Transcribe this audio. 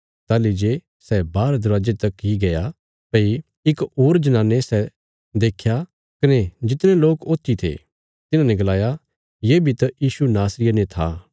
ताहली जे सै बाहर दरवाजे तक इ गया था भई इक होर जनाने सै देख्या कने जितने लोक ऊत्थी थे तिन्हाने गलाया ये बी त यीशु नासरिये ने था